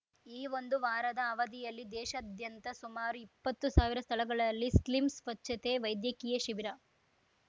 ಈ ಒಂದು ವಾರದ ಅವಧಿಯಲ್ಲಿ ದೇಶಾದ್ಯಂತ ಸುಮಾರು ಇಪ್ಪತ್ತು ಸಾವಿರ ಸ್ಥಳಗಳಲ್ಲಿ ಸ್ಲಿಮ್‌ ಸ್ವಚ್ಛತೆ ವೈದ್ಯಕೀಯ ಶಿಬಿರ